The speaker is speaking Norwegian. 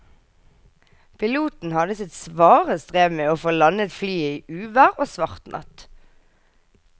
Piloten hadde sitt svare strev med å få landet flyet i uvær og svart natt.